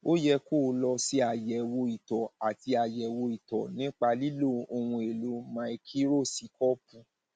ó yẹ kó o lọ ṣe àyẹwò ìtọ àti àyẹwò ìtọ nípa lílo ohunèlò máíkírósíkóópù